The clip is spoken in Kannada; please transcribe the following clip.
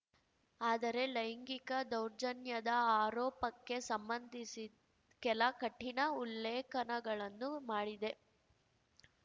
ಆದರೆ ಲೈಂಗಿಕ ದೌರ್ಜನ್ಯದ ಆರೋಪಕ್ಕೆ ಸಂಬಂಧಿಸಿ ಕೆಲ ಕಠಿಣ ಉಲ್ಲೇಖನಗಳನ್ನು ಮಾಡಿದೆ